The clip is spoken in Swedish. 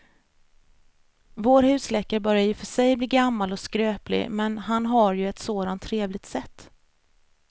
Vår husläkare börjar i och för sig bli gammal och skröplig, men han har ju ett sådant trevligt sätt!